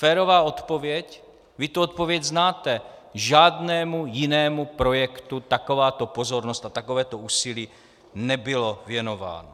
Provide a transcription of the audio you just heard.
Férová odpověď - vy tu odpověď znáte: žádnému jinému projektu takováto pozornost a takovéto úsilí nebyly věnovány.